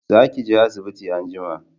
Za ki je asibiti anjima!